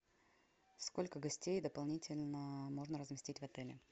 сколько гостей дополнительно можно разместить в отеле